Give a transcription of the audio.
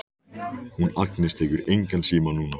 Hún Agnes tekur engan síma núna.